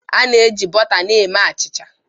A na-eji bọta na-eme achịcha.